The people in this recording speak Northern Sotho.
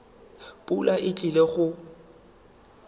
pula e tlile go na